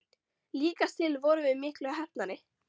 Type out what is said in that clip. Líkast til vorum við miklu heppnari.